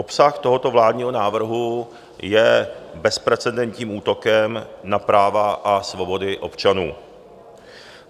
Obsah tohoto vládního návrhu je bezprecedentním útokem na práva a svobody občanů.